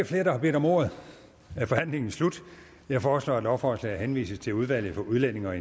flere der har bedt om ordet er forhandlingen slut jeg foreslår at lovforslaget henvises til udvalget for udlændige og